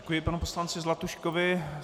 Děkuji panu poslanci Zlatuškovi.